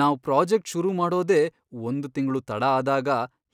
ನಾವ್ ಪ್ರಾಜೆಕ್ಟ್ ಶುರು ಮಾಡೋದೇ ಒಂದ್ ತಿಂಗ್ಳು ತಡ ಆದಾಗ,